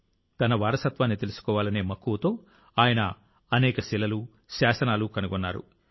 తన వారసత్వాన్ని తెలుసుకోవాలనే మక్కువతో ఆయన అనేక శిలలు శాసనాలు కనుగొన్నారు